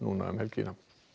um helgina